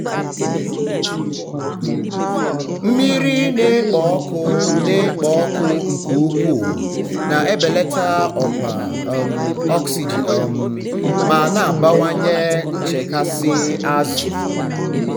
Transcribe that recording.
mmiri na-ekpo ọkụ na-ekpo ọkụ nke ukwuu na-ebelata ọkwa um oxygen um ma na-abawanye um nchekasị azụ.